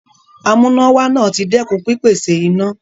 Amúnáwá náà ti dẹ́kun pípèsè iná.